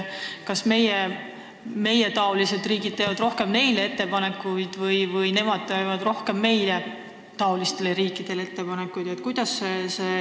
Kas meietaolised riigid teevad rohkem neile ettepanekuid või nemad teevad rohkem meietaolistele riikidele ettepanekuid?